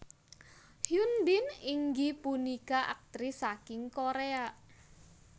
Hyun Bin inggih punika aktris saking Koréa